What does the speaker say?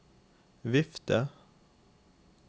vifte